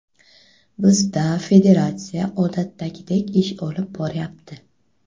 Bizda federatsiya odatdagidek ish olib boryapti.